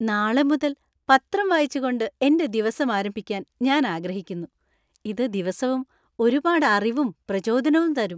നാളെ മുതൽ പത്രം വായിച്ചുകൊണ്ട് എന്‍റെ ദിവസം ആരംഭിക്കാൻ ഞാൻ ആഗ്രഹിക്കുന്നു, ഇത് ദിവസവും ഒരുപാട് അറിവും, പ്രചോദനവും തരും.